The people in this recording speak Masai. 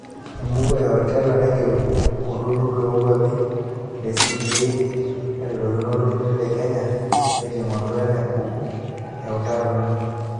Embuku e HORTINLEA naigero olturur loo kwapi le CBA neretokino olturur le Kenya tenkiting'oto enabuku eutaroto.